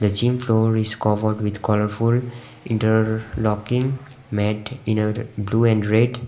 a gym floor is covered with colourful inter-locking mat in blue and red.